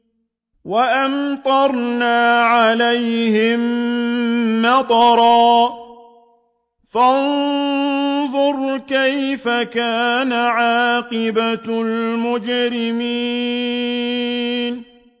وَأَمْطَرْنَا عَلَيْهِم مَّطَرًا ۖ فَانظُرْ كَيْفَ كَانَ عَاقِبَةُ الْمُجْرِمِينَ